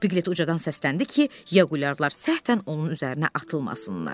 Pilet ucadan səsləndi ki, Yağuliyalar səhvən onun üzərinə atılmasınlar.